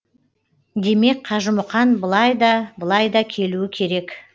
демек қажымұқан былай да былай да келуі керек